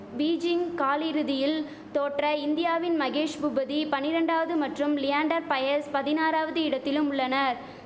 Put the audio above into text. Beijing காலிறுதியில் தோற்ற இந்தியாவின் மகேஷ் பூபதி பனிரண்டாவது மற்றும் லியாண்டர் பயஸ் பதினாறாவது இடத்திலும் உள்ளனர்